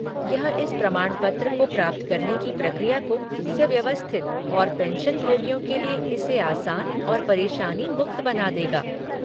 यह इस प्रमाणपत्र को प्राप्त करने की प्रक्रिया को सुव्यवस्थित और पेंशनभोगियों के लिए इसे आसान और परेशानी मुक्त बना देगा।